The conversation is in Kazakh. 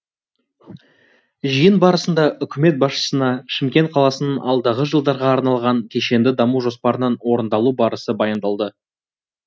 жиын барысында үкімет басшысына шымкент қаласының алдағы жылдарға арналған кешенді даму жоспарының орындалу барысы баяндалды